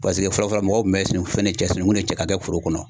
Paseke fɔlɔ fɔlɔ mɔgɔw kun bɛ fɛn cɛ sinungun de cɛ ka kɛ foro kɔnɔ